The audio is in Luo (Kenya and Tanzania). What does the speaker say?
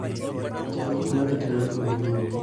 Chan gik madhi timore dwe manyien.